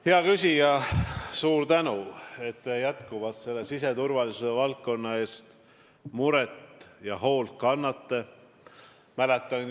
Hea küsija, suur tänu, et te jätkuvalt siseturvalisuse valdkonna pärast muret tunnete ja selle eest hoolt kannate!